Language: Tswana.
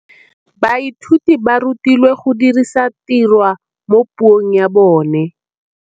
Baithuti ba rutilwe go dirisa tirwa mo puong ya bone.